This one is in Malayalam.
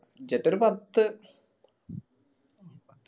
budget ഒരു പത്ത്